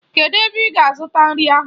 Kedụ ebe ị ga-azụta nri ahụ?